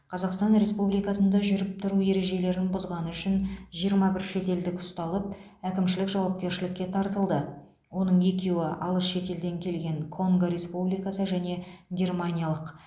қазақстан республикасында жүріп тұру ережелерін бұзғаны үшін жиырма бір шетелдік ұсталып әкімшілік жауапкершілікке тартылды оның екеуі алыс шетелден келген конго республикасы және германиялық